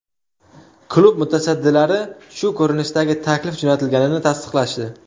Klub mutasaddilari shu ko‘rinishdagi taklif jo‘natilganini tasdiqlashdi.